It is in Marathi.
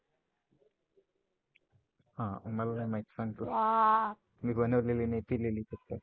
हा मला नाही माहित सांग तू. मी बनवलेली नाही पिलेली फक्त.